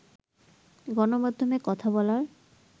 গণমাধ্যমে কথা বলার